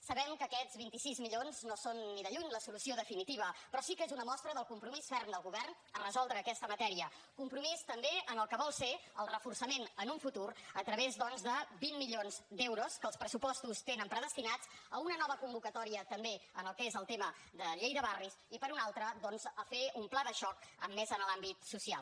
sabem que aquests vint sis milions no són ni de lluny la solució definitiva però sí que és una mostra del compromís ferm del govern de resoldre aquesta matèria compromís també en el que vol ser el reforçament en un futur a través doncs de vint milions d’euros que els pressupostos tenen predestinats a una nova convocatòria també en el que és el tema de llei de barris i per una altra doncs a fer un pla de xoc més en l’àmbit social